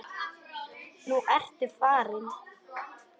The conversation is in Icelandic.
Nú ertu farinn.